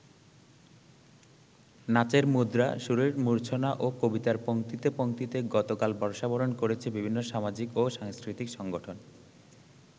নাচের মুদ্রা, সুরের মূর্ছনা ও কবিতার পঙ্ক্তিতে পঙ্ক্তিতে গতকাল বর্ষাবরণ করেছে বিভিন্ন সামাজিক ও সাংস্কৃতিক সংগঠন।